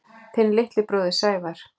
Þinn litli bróðir, Sævar.